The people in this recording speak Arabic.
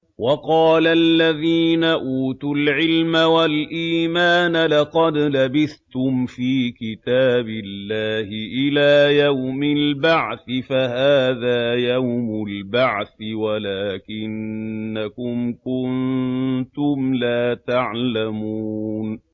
وَقَالَ الَّذِينَ أُوتُوا الْعِلْمَ وَالْإِيمَانَ لَقَدْ لَبِثْتُمْ فِي كِتَابِ اللَّهِ إِلَىٰ يَوْمِ الْبَعْثِ ۖ فَهَٰذَا يَوْمُ الْبَعْثِ وَلَٰكِنَّكُمْ كُنتُمْ لَا تَعْلَمُونَ